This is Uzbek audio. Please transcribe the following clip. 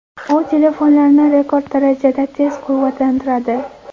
U telefonlarni rekord darajada tez quvvatlantiradi.